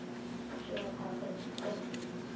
शिवाय फार खर्चिक पण नाही.